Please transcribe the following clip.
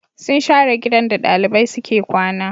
Sun share gidan da ɗalibai suke kwana